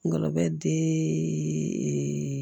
Ngɔlɔbɛ di eeee